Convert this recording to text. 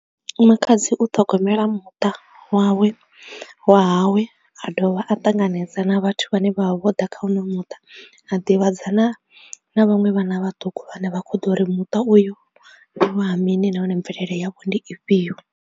Makhadzi u ṱhogomela muṱa wawe, wa hawe a dovha a ṱanganedza na vhathu vhane vha vha vho ḓa kha uno muṱa a ḓivhadzana na vhaṅwe vhana vhaṱuku vhane vha kho ḓo ri muṱa uyu ndi wa ha mini nahone mvelele yavho ndi ifhio.